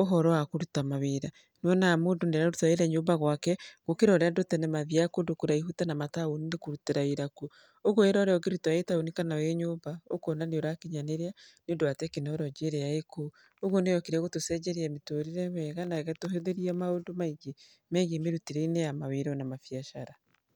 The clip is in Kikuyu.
ũhoro wa kũruta mawĩra, wonaga mũndũ nĩ araruta wĩra e nyũmba gwake, gũkĩra ũrĩa andũ tene mathiaga kũndũ kũraihu ta na mataũni-inĩ kũrutĩra wĩra kuo. Ũguo wĩra ũrĩa ũngĩruta wĩ taũni kana wĩ nyũmba, ũkona nĩ ũrakinyanĩria nĩ ũndũ wa tekinoronjĩ ĩrĩa ĩkuo. Ũguo nĩ yokire gũtũcenjeria mĩtũrĩre wega, na ĩgatũhũthĩria maũndũ maingĩ megiĩ mĩrutĩre-inĩ ya mawĩra na mabiacara.